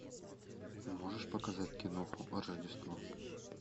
можешь показать киноху рождество